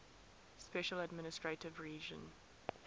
special administrative region